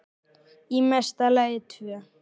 Í mesta lagi tvö.